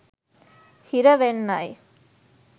හිර වෙන්නයි.